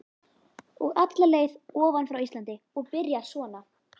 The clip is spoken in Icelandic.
Og alla leið ofan frá Íslandi og byrjar svona